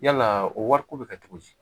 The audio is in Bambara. Yalaa o wariko bɛ kɛ cogo di